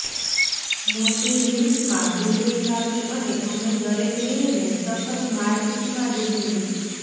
મોટી રિંગ્સમાં ડુંગળી કાપી અને અમે દરેક રિંગને સખત મારપીટમાં ડૂબવું